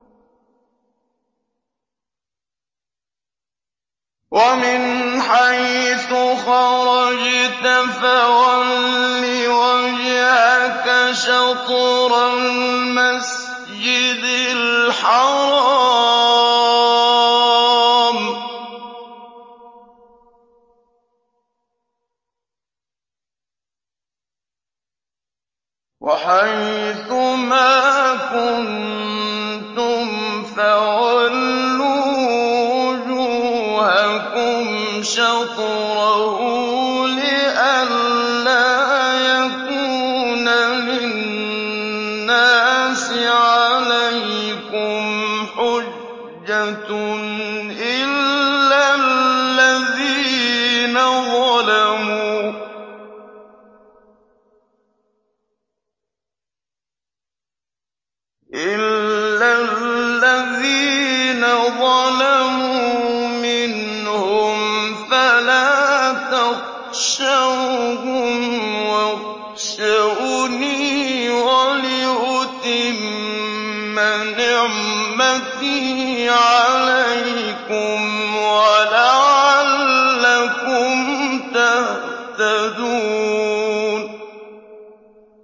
وَمِنْ حَيْثُ خَرَجْتَ فَوَلِّ وَجْهَكَ شَطْرَ الْمَسْجِدِ الْحَرَامِ ۚ وَحَيْثُ مَا كُنتُمْ فَوَلُّوا وُجُوهَكُمْ شَطْرَهُ لِئَلَّا يَكُونَ لِلنَّاسِ عَلَيْكُمْ حُجَّةٌ إِلَّا الَّذِينَ ظَلَمُوا مِنْهُمْ فَلَا تَخْشَوْهُمْ وَاخْشَوْنِي وَلِأُتِمَّ نِعْمَتِي عَلَيْكُمْ وَلَعَلَّكُمْ تَهْتَدُونَ